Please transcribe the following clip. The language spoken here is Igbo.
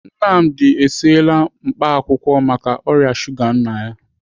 Nnamdi esiela mkpaakwụkwọ maka ọrịa shuga nna ya.